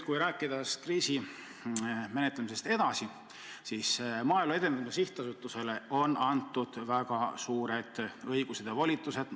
Kui rääkida kriisi menetlemisest edasi, siis Maaelu Edendamise Sihtasutusele on antud väga suured õigused ja volitused.